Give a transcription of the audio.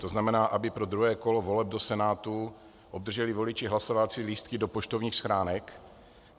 To znamená, aby pro druhé kolo voleb do Senátu obdrželi voliči hlasovací lístky do poštovních schránek.